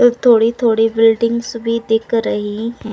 थोड़ी-थोड़ी बिल्डिंग्स भी दिख रही हैं।